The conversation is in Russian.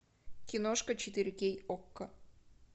киношка четыре кей окко